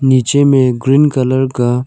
निचे में green colour का--